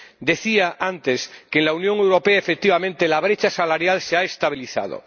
Decía antes que en la Unión Europea, efectivamente, la brecha salarial se ha estabilizado.